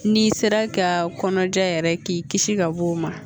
N'i sera ka kɔnɔja yɛrɛ k'i kisi ka bɔ o ma